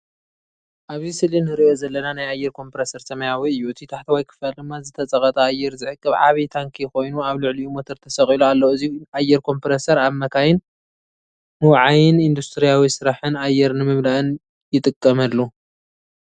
ኣብዚ ስእሊ ንርእዮ ዘለና ናይ ኣየር ኮምፕረሰር ሰማያዊ እዩ። እቲ ታሕተዋይ ክፋል ድማ ዝተጸቕጠ ኣየር ዝዕቅብ ዓቢ ታንኪ ኮይኑ፡ ኣብ ልዕሊኡ ሞተር ተሰቒሉ ኣሎ። እዚ ኣየር ኮምፕረሰር ኣብ መካይን፣ ምውዓይን ኢንዱስትርያዊ ስራሕን ኣየር ንምምላእን ይጥቀመሉ።